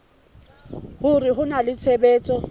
hore ho na le tshebetso